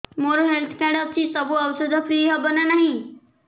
ମୋର health card ଅଛି ସବୁ ଔଷଧ ଫ୍ରି ହବ ନା ନାହିଁ